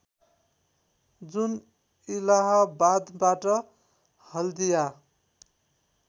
जुन इलाहाबादबाट हल्दिया